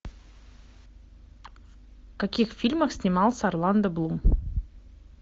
в каких фильмах снимался орландо блум